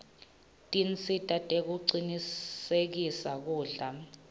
tinsita tekucinisekisa kudla